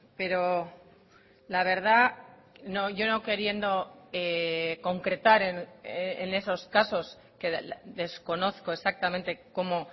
pero la verdad yo no queriendo concretar en esos casos que desconozco exactamente cómo